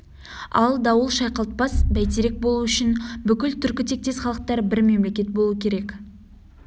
ал дауыл шайқалтпас бәйтерек болу үшін бүкіл түркі тектес халықтар бір мемлекет болуы керек